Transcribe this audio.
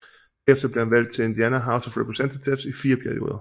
Derefter blev han valgt til Indiana House of Representatives i fire perioder